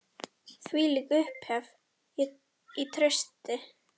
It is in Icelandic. Þvílík upphefð og traust.